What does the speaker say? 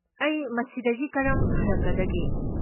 ꯑꯩ ꯃꯁꯤꯗꯒꯤ ꯀꯔꯝ ꯐꯔꯛꯀꯗꯒꯦ?